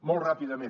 molt ràpidament